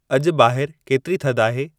अॼु ॿाहिर केतिरी थधि आहे